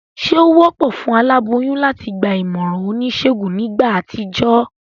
Sé o wópò fún aláboyún láti gba ìmòràn onísègùn nígbà àtijó?